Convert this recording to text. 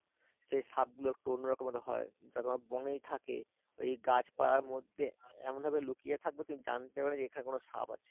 সে সাপগুলো একটু অন্যরকমের হয় যা তোমার বনেই থাকে ওই গাছপালার মধ্যে এমন ভাবে লুকিয়ে থাকবে তুমি জানতে পারবে না যে এখানে কোন সাপ আছে